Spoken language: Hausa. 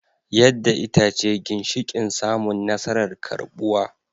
Yadda ita ce ginshiƙin samun nasarar karɓuwa